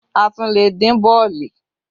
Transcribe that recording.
A tún lè dín bọ̀ọ̀lì